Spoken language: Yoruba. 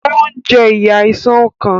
O ń je iyá Àìsàn ọkàn